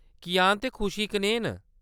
कियान ते खुशी कनेह् न ?